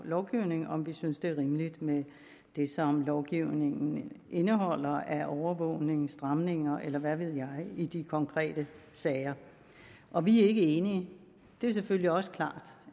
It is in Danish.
lovgivning om vi synes det er rimeligt med det som lovgivningen indeholder af overvågning stramninger eller hvad ved jeg i de konkrete sager og vi er ikke enige det er selvfølgelig også klart